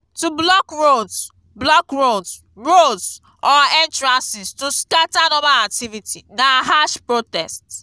to blockroads blockroads roads or entrances to scatter normal activity na harsh protest